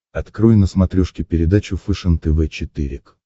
открой на смотрешке передачу фэшен тв четыре к